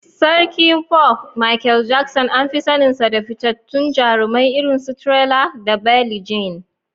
Sarkin Pop, Michael Jackson, an fi saninsa da fitattun jarumai irin su "Thriller" da "Billie Jean."